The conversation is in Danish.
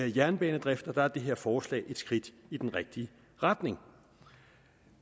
jernbanedrift og der er det her forslag et skridt i den rigtige retning